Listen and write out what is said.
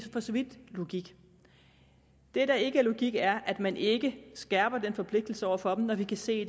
for så vidt logik det der ikke er logik er at man ikke skærper den forpligtelse over for dem når vi kan se